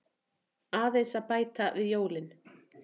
Aðeins að bæta við jólin.